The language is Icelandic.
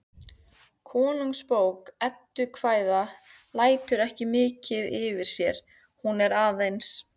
Konungsbók eddukvæða lætur ekki mikið yfir sér, hún er aðeins